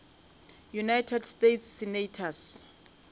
united states senators